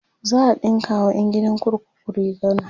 za'a ɗinka wa ƴan gidan kurkuku riguna